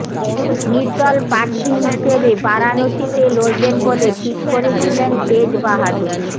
নির্দল প্রার্থী হিসেবে বারাণসীতে লড়বেন বলে ঠিক করেছিলেন তেজ বাহাদুর